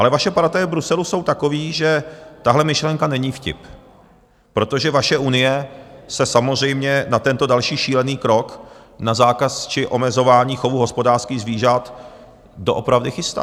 Ale vaše partaje v Bruselu jsou takové, že tahle myšlenka není vtip, protože vaše Unie se samozřejmě na tento další šílený krok, na zákaz či omezování chovu hospodářských zvířat, doopravdy chystá.